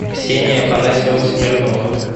ксения афанасьева смирнова